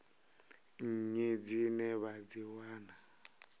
nnyi dzine vha dzi wana